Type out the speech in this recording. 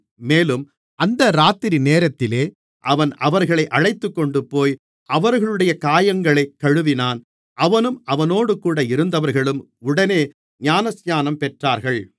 மேலும் அந்த இராத்திரி நேரத்திலே அவன் அவர்களை அழைத்துக்கொண்டுபோய் அவர்களுடைய காயங்களைக் கழுவினான் அவனும் அவனோடுகூட இருந்தவர்களும் உடனே ஞானஸ்நானம் பெற்றார்கள்